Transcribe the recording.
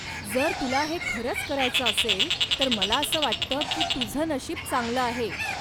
जर तुला हे खरच करायचं असेल तर मला असं वाटतं की तुझं नशीब चांगलं आहे.